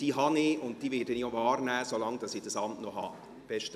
Diese habe ich, und diese werde ich auch wahrnehmen, solange ich dieses Amt innehabe.